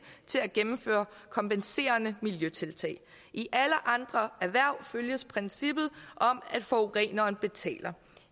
til at gennemføre kompenserende miljøtiltag i alle andre erhverv følges princippet om at forureneren betaler